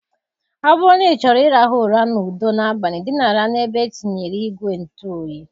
Ọ bụrụ na ịchọrọ ịrahụ ụra n'udo n'abalị, dinara n'ebe e tinyere ìgwè ntụ oyi.